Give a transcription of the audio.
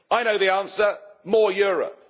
I know the answer more Europe.